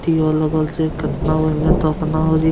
तीओ लगल छे केतना बढ़िया दोकाना होजि --